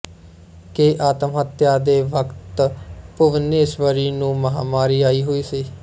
ਕਿ ਆਤਮਹੱਤਿਆ ਦੇ ਵਕਤ ਭੁਬਨੇਸਵਰੀ ਨੂੰ ਮਾਹਾਮਾਰੀ ਆਈ ਹੋਈ ਸੀ